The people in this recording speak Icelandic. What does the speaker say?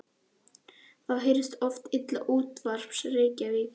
Þá heyrðist oft illa til útvarpsins í Reykjavík.